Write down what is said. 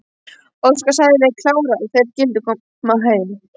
Óskar sagði við Kára að þeir skyldu koma heim.